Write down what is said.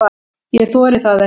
Ég þori það ekki.